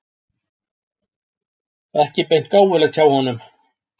Ekki beint gáfulegt hjá honum!